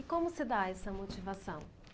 E como se dá essa motivação?